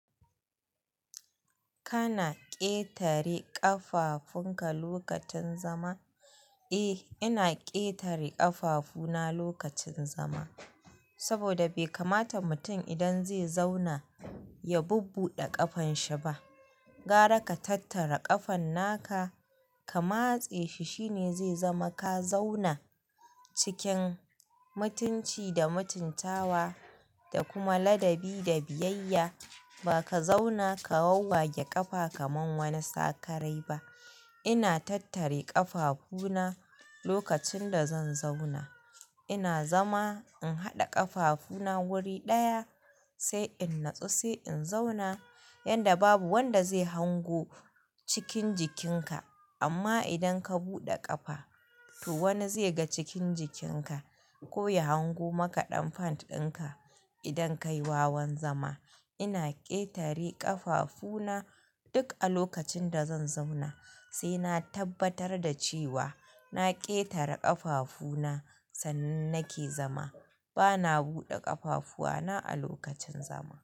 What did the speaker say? Kana ƙetare ƙafafunka lokacin zama? Eh, ina ƙetare ƙafafuna lokacin zama. Saboda bai kamata mutum idan zai zauna ya bubbuɗe ƙafanshi ba. Gara ka tattara ƙafan naka ka matse shi shine zai zama ka zauna cikin mutunci da mutuntawa da kuma ladabi da biyayya. Ba ka zauna ka wawage ƙafa kamar wani sakarai ba. Ina tattare ƙafafuna lokacin da zan zauna. Ina zama in haɗa ƙafafuna wuri ɗaya sai in natsu sai in zauna yanda babu wanda zai hango cikin jikinka. Amma idan ka buɗe ƙafa to wani zai ga cikin jikinka ko ya hango maka ɗan pant ɗinka idan ka yi wawan zama. Ina ƙetare ƙafafuna duk a lokacin da zan zauna. Sai na tabbatar da cewa na ƙetare ƙafafuna sannan nake zama. Bana buɗe ƙafafuwa na a lokacin zama.